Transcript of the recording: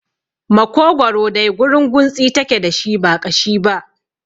Makogwaro dai gurunguntsi take dashi ba ƙashi ba